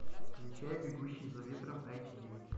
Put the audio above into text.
включай бегущий за ветром эйч ди